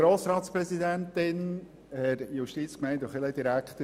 Grossrat Saxer, Sie haben das Wort.